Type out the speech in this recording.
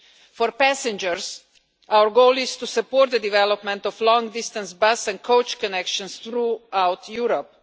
For passengers, our goal is to support the development of long-distance bus and coach connections throughout Europe.